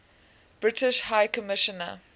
british high commissioner